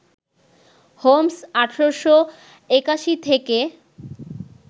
Holmes ১৮৮১ থেকে